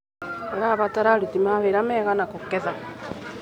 ũrabatara aruti a wĩra aigana kũgetha.